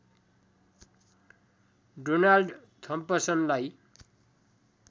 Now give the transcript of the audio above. Donald थम्पसनलाई